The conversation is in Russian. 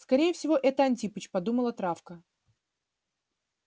скорее всего это антипыч подумала травка